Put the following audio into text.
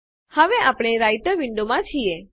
હવે આપણે રાઈટર વિન્ડોમાં છીએ